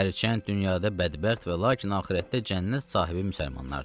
Hərçənd dünyada bədbəxt və lakin axirətdə cənnət sahibi müsəlmanlardır.